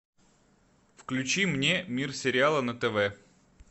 включи мне мир сериала на тв